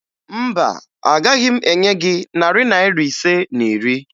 Mba, agaghị m enye gị narị Naira ise na iri